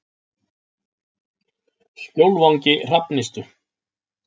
Skjólvangi Hrafnistu